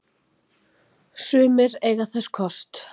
Sumir eiga þess ekki kost